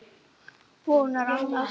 Vonar annað.